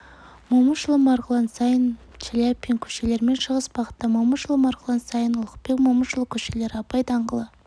момышұлы-марғұлан сайын шаляпин көшелерімен шығыс бағытта момышұлы марғұлан сайын ұлықбек момышұлы көшелері абай даңғылы